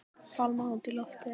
Fálma út í loftið.